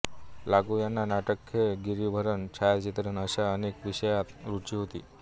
लागू यांना नाटक खेळ गिरिभ्रमण छायाचित्रण अशा अनेक विषयांत रुची होती